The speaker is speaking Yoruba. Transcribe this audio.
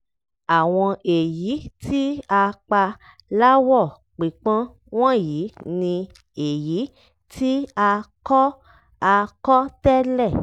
àwọn èyí tí a pa láwọ̀ pípọ́n wọ̀nyí ni èyí tí a kọ́ a kọ́ tẹ́lẹ̀.